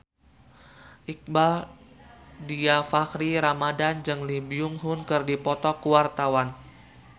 Iqbaal Dhiafakhri Ramadhan jeung Lee Byung Hun keur dipoto ku wartawan